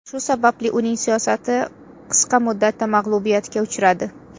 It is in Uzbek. Shu sababli uning siyosati qisqa muddatda mag‘lubiyatga uchradi.